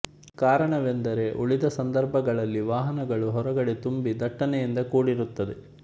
ಕಾರಣವೆಂದರೆ ಉಳಿದ ಸಂದರ್ಭಗಳಲ್ಲಿ ವಾಹನಗಳು ಹೊರಗಡೆ ತುಂಬ ದಟ್ಟಣೆಯಿಂದ ಕೂಡಿರುತ್ತದೆ